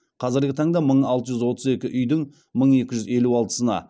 қазіргі таңда мың алты жүз отыз екі үйдің мың екі жүз елу алтысына